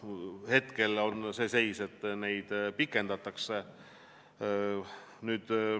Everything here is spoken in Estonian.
Hetkel on selline seis, et sanktsioone pikendatakse.